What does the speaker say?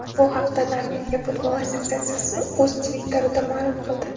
Bu haqda Norvegiya futbol assotsiatsiyasi o‘z Twitter’ida ma’lum qildi .